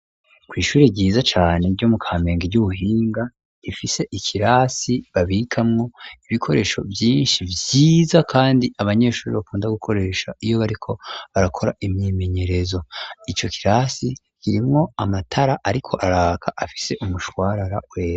kw,ishuri ryiza cane ryo mu kamenge ry'ubuhinga ifise ikirasi babikamwo ibikoresho vyinshi vyiza kandi abanyeshuri bakunda gukoresha iyo bariko barakora imyimenyerezo, ico kirasi kirimwo amatara ariko araka afise umushwarara wera.